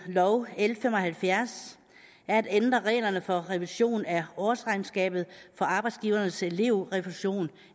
nummer l fem og halvfjerds er at ændre reglerne for revision af årsregnskabet for arbejdsgivernes elevrefusion